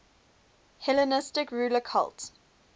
hellenistic ruler cult